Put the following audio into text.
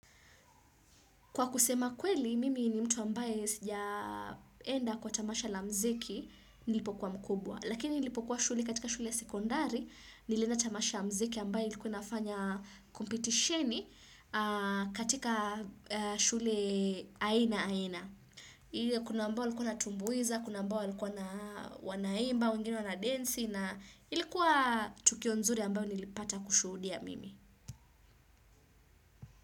Kwa kusema kweli, mimi ni mtu ambaye sijaenda kwa tamasha la mziki nilipokuwa mkubwa. Lakini nilipokuwa shule katika shule sekondari, nilienda tamasha la mziki ambaye ilikuwa nafanya kompitisheni katika shule aina aina. Kuna ambao walikuwa watumbuiza, kuna ambao walikuwa na wanaimba, wengine wana densi, na ilikuwa tukio nzuri ambayo nilipata kushudia mimi.